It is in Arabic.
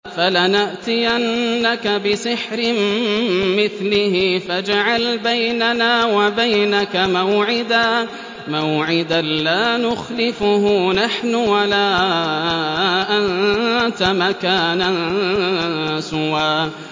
فَلَنَأْتِيَنَّكَ بِسِحْرٍ مِّثْلِهِ فَاجْعَلْ بَيْنَنَا وَبَيْنَكَ مَوْعِدًا لَّا نُخْلِفُهُ نَحْنُ وَلَا أَنتَ مَكَانًا سُوًى